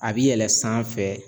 A bi yɛlɛ sanfɛ.